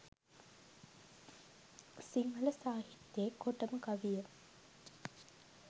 සිංහල සාහිත්‍යයේ කොටම කවිය